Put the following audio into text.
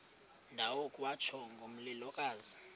ndawo kwatsho ngomlilokazi